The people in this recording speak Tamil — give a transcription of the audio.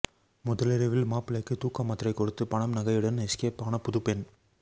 முதலிரவில் மாப்பிள்ளைக்கு தூக்கமாத்திரை கொடுத்து பணம் நகையுடன் எஸ்கேப் ஆன புதுப்பெண்